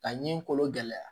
Ka ɲi kolo gɛlɛya